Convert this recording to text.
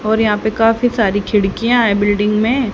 और यहां पे काफी सारी खिड़कियां हैं बिल्डिंग में।